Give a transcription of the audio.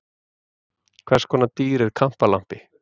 Hvers konar dýr er kampalampi?